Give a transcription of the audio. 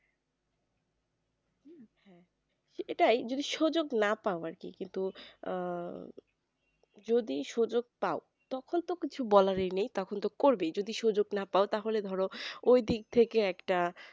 এটাই যদি সুযোগ না পাওয়ার কি কিন্তু আহ যদি সুযোগ পাও তখন তো কিছু বলারই নেই তখন তো করবেই যদি সুযোগ না পাও তাহলে ধরো ঐদিক থেকে একটা